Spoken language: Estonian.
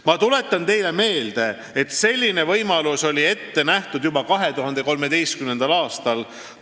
Ma tuletan teile meelde, et selline võimalus oli ette nähtud juba 2013. aastal.